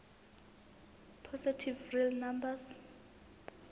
positive real numbers